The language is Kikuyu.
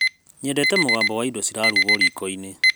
Nyendete mũgambo wa indo cirarugwo riko-inĩ.